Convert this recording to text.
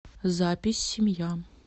запись семья